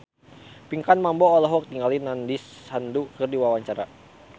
Pinkan Mambo olohok ningali Nandish Sandhu keur diwawancara